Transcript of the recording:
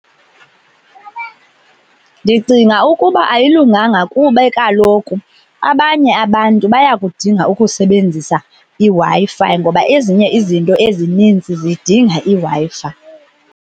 Ndicinga ukuba ayilunganga kube kaloku abanye abantu bayakudinga ukusebenzisa iWi-Fi ngoba ezinye izinto ezinintsi zidinga iWi-Fi.